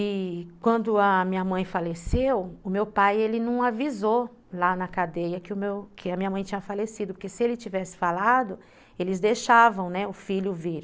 E quando a minha mãe faleceu, o meu pai não avisou lá na cadeia que a minha mãe tinha falecido, porque se ele tivesse falado, eles deixavam o filho vir.